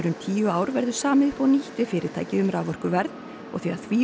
tíu ár verður samið upp á nýtt við fyrirtækið um raforkuverð og þegar því